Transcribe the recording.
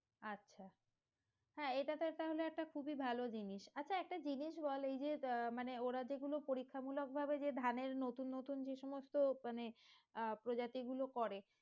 আচ্ছা হ্যাঁ এটা তো একটা হলে খুবই ভালো জিনিস আচ্ছা একটা জিনিস বল এইযে আহ মানে ওরা যেগুলো পরীক্ষামূলক ভাবে যে ধানের নতুন নতুন যে সমস্ত মানে আহ প্রজাতি গুলো করে